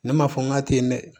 Ne m'a fɔ n k'a te yen dɛ